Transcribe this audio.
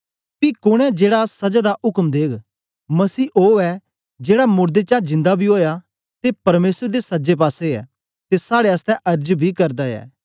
पी कोन ऐ जेड़ा सजा दा उक्म देग मसीह ओ ऐ जेड़ा मोड़दें चा जिन्दा बी ओया ते परमेसर दे सजे पासे ऐ ते साड़े आसतै अर्ज बी करदा ऐ